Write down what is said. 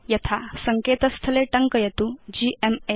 यथा सङ्केत स्थले टङ्कयतु gma